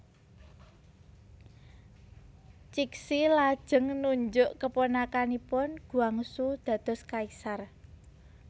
Cixi lajeng nunjuk keponakanipun Guangxu dados kaisar